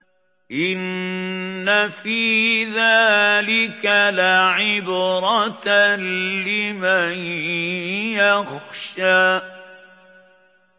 إِنَّ فِي ذَٰلِكَ لَعِبْرَةً لِّمَن يَخْشَىٰ